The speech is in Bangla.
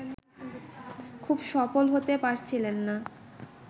খুব সফল হতে পারছিলেন না